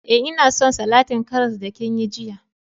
Eh, nna son salatin karras da kin yi jiya.